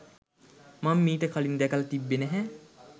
මං මිට කලින් දැකල තිබ්බේ නැහැ.